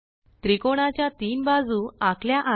त्रिकोणाच्या तीन बाजू आखल्या आहेत